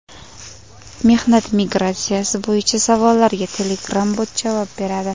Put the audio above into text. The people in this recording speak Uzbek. Mehnat migratsiyasi bo‘yicha savollarga Telegram-bot javob beradi.